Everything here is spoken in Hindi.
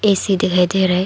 ए_सी दिखाई दे रहा है।